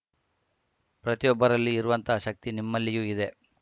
ಪ್ರತಿಯೊಬ್ಬರಲ್ಲಿ ಇರುವಂತಹ ಶಕ್ತಿ ನಿಮ್ಮಲ್ಲಿಯೂ ಇದೆ